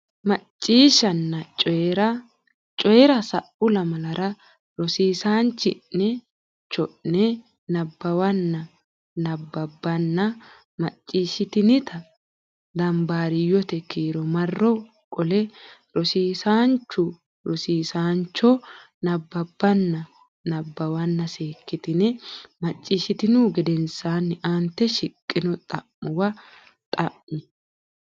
Macciishshanna Coyi ra Coyi ra Sa u lamalara rosiisaanchi ne cho ne nabbawanna bbanna macciishshitinita dambaariyyote kiiro marro qole rosiisaanchu cho nabbawanna bbanna seekkitine macciishshitinihu gedensaanni aante shiqqino xa muwa lami.